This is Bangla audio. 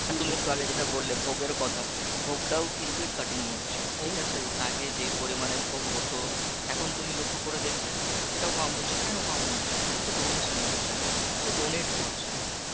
হ্যাঁ তুমি একটু আগে যেটা বললে ভোগের কথা ভোগটাও কিন্তু কাটন হচ্ছে, ঠিকআছে? আগে যে পরিমানে ভোগ হতো এখন তুমি লক্ষ্য করে দেখবে সেটাও কম হচ্ছে কেনো কম হচ্ছে যেহেতু ডোনেশন হচ্ছে না কেউ দোনাতে করছেনা,